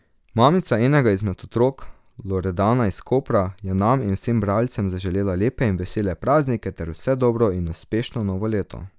Mamica enega izmed otrok, Loredana iz Kopra, je nam in vsem bralcem zaželela lepe in vesele praznike ter vse dobro in uspešno novo leto.